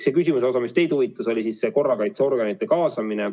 See osa, mis teid huvitab, oli korrakaitseorganite kaasamine.